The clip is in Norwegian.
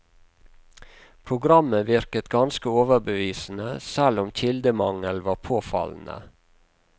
Programmet virket ganske overbevisende, selv om kildemangelen var påfallende.